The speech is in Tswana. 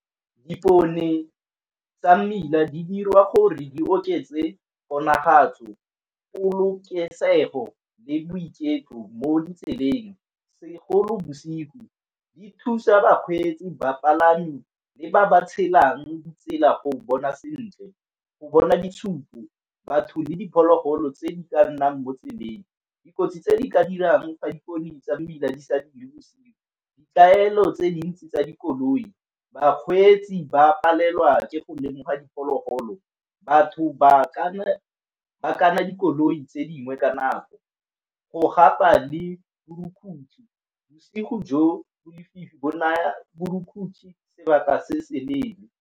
Dipone tsa mmila di dirwa gore di oketse bonagatso, polokesego, le boiketlo mo ditseleng segolo bosigo, di thusa bakgweetsi, bapalami, le ba ba tshelang di tsela go bona sentle. Go bona ditshupo batho le diphologolo tse di ka nnang mo tseleng, dikotsi tse di ka dirang ka dipone tsa mmila di sa dire bosigo. Ditaelo tse dintsi tsa dikoloi bakgweetsi ba palelwa ke go lemoga diphologolo, batho ba kana dikoloi tse dingwe ka nako, go gapa le borukutlhi bosigo jo bo lefifi bo na borukutlhi sebaka se se leele.